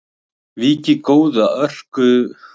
Víkið góðu að örkumlamönnum sem börðust fyrir föðurlandið.